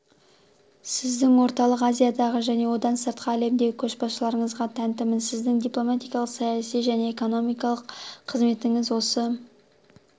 сіздің орталық азиядағы және одан сыртқы әлемдегі көшбасшылығыңызға тәнтімін сіздің дипломатиялық саяси және экономикалық қызметіңіз осы